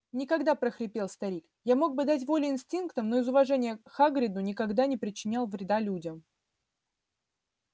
никогда прохрипел старик я мог бы дать волю инстинктам но из уважения к хагриду никогда не причинял вреда людям